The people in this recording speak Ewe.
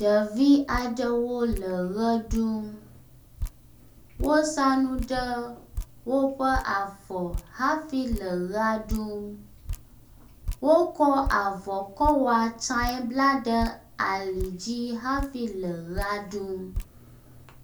Ɖevi aɖewo le ʋe ɖum wosa nu ɖe woƒe afɔ hafi le ʋea ɖum. Wokɔ avɔ kɔ wɔ atsae bla ɖe ali dzi hafi le ʋea ɖum.